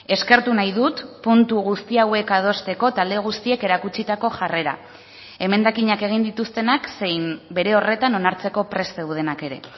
eskertu nahi dut puntu guzti hauek adosteko talde guztiek erakutsitako jarrera emendakinak egin dituztenak zein bere horretan onartzeko prest zeudenak ere